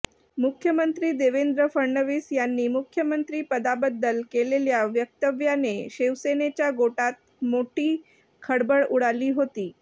मुख्यमंत्री देवेंद्र फडणवीस यांनी मुख्यमंत्रीपदाबद्दल केलेल्या वक्तव्याने शिवसेनेच्या गोटात मोठी खळबळ उडाली होती